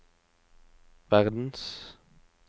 verdens